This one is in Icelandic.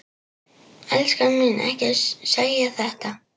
Elskan mín, ekki segja þetta!